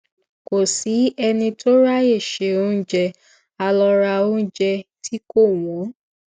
kò sí ẹni tó ráyè se oúnjẹ a lọ ra oúnjẹ tí kò wón